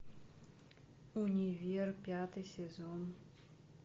универ пятый сезон